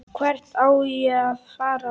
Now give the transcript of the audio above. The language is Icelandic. Hvert á að fara?